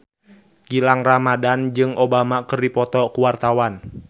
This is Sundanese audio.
Gilang Ramadan jeung Obama keur dipoto ku wartawan